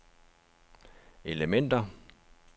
elementer